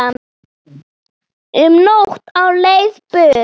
Um nótt á leið burt